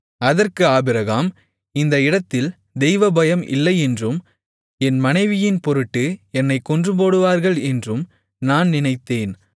அதற்கு ஆபிரகாம் இந்த இடத்தில் தெய்வபயம் இல்லையென்றும் என் மனைவியின்பொருட்டு என்னைக் கொன்றுபோடுவார்கள் என்றும் நான் நினைத்தேன்